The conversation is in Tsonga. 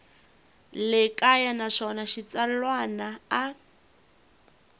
le kaya naswona xitsalwana a